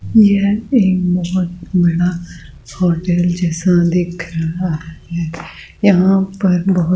यह एक बहुत बड़ा होटल जैसा दिख रहा है यहां पर बहुत--